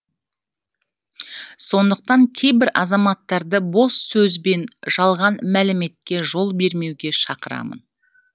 сондықтан кейбір азаматтарды бос сөз бен жалған мәліметке жол бермеуге шақырамын